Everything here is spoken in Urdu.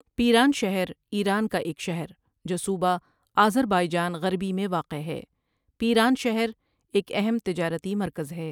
پیرانشہر ایران کا ایک شہر جو صوبہ آذربائیجان غربی میں واقع ہے پیرانشهر ایک اہم تجارتی مرکز ہے۔